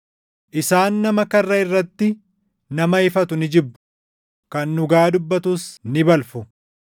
Isaan nama karra irratti nama ifatu ni jibbu; kan dhugaa dubbatus ni balfu.